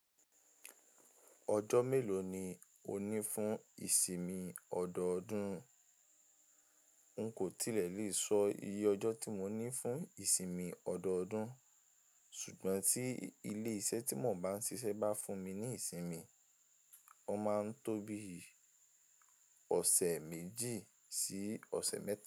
Ọjọ́ mélòó ni o ní fún ìsinmi ọdọọdún? N kò tilẹ̀ lè sọ iye ọjọ́ tí mo ní fún ìsinmi ọdọọdún, ṣùgbọ́n tí ilé iṣẹ́ tí mò ń bá ń ṣiṣẹ́ bá fún mi ní ìsinmi, ó máa ń tóbi ọ̀sẹ̀ méjì sí ọ̀sẹ̀ mẹ́ta.